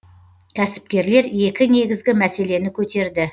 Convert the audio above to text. кәсіпкерлер екі негізгі мәселені көтерді